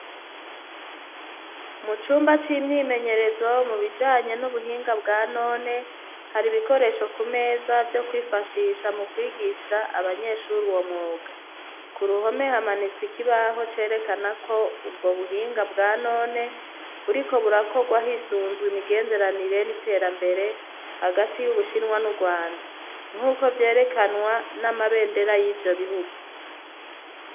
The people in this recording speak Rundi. Mu cumba c'imyimenyerezo mu bijanye n'ubuhinga bwa none, har' ibikoresho ku meza vyo kwifashisha mu kwigisha abanyeshur'uwo mwuga, ku ruhome hamanits' ikibaho cerekana ko ubwo buhinga bwa none buriko burakogwa hisunzw' imigenderanire n'iterambere hagati y'ubu Shinwa n'uRwanda nk'uko vyerekanwa n'amabendera y'ivyo bihugu